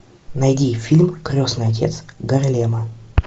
найди фильм крестный отец гарлема